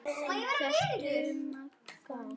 Hélt um magann.